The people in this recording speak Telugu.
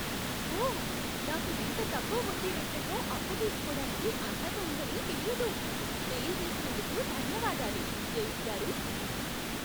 ఓ! నాకు ఇంత తక్కువ వడ్డీ రేట్లతో అప్పు తీసుకోడానికి అర్హత ఉందని తెలియదు. తెలియజేసినందుకు ధన్యవాదాలు, డేవిడ్ గారూ.